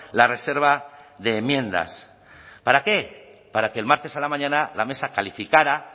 la reserva de enmiendas para qué para que el martes a la mañana la mesa calificara